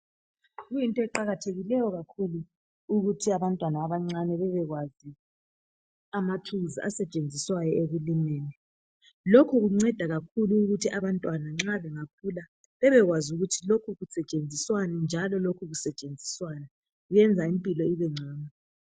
Kuyinto eqakathekileyo kakhulu ukuthi abantwana abancane bebekwazi amatools asetshenziswayo ekulimeni lokhu kunceda kakhulu ukuthi abantwana nxa bengakhula bebekwazi ukuthi lokhu kusetshenziswani njalo lokhu kusetshenziswa njani kwenza impilo ibengcono